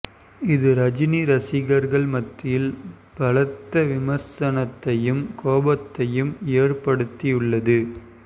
இது ரஜினி ரசிகர்கள் மத்தியில் பலத்த விமர்சனத்தையும் கோபத்தையும் ஏற்படுத்தி உள்ளது